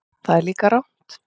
Það er líka rangt.